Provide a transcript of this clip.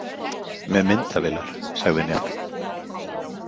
Með myndavélar, sagði Njáll.